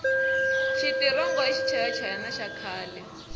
xitirongo i xichaya hayani xa khale